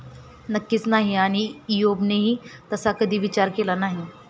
नक्कीच नाही. आणि ईयोबनेही तसा कधी विचार केला नाही.